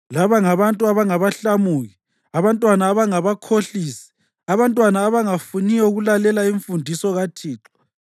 Laba ngabantu abangabahlamuki, abantwana abangabakhohlisi, abantwana abangafuniyo ukulalela imfundiso kaThixo.